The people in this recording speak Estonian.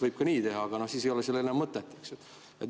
Võib ka nii teha, aga siis ei ole sellel enam mõtet.